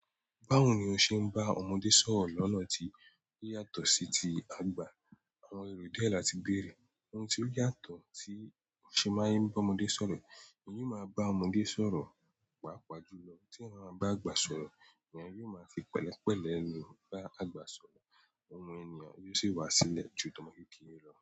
Báwo ni o ṣe ń bá ọmọdé sọ̀rọ̀ lọ́nà tí o yàtọ̀ sí ti àgbà? Àwọn ero díẹ̀ láti béèrè. Ohun tí ó yàtọ̀ tí o ṣe máa ń bá ọmọdé sọ̀rọ̀, èèyàn máa bá ọmọdé sọ̀rọ̀, pàápàá jù lọ. Tí ẹ bá bá àgbà sọ̀rọ̀, èèyàn yóò máa fi pẹ̀lẹ́pẹ̀lẹ̀ ló bá àgbà sọ̀rọ̀. Òun ènìyàn yóò sì wa sílẹ̀ ju tọmọkekere lọ.